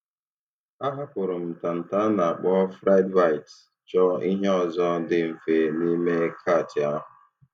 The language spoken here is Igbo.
A hapụrụ m ntanta a na akpọ friedbites, chọọ ihe ọzọ ndị mfe n;ime kàtị ahụ.